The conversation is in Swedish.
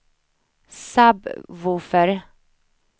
sub-woofer